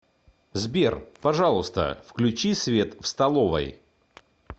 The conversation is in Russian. сбер пожалуйста включи свет в столовой